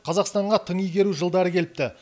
қазақстанға тың игеру жылдары келіпті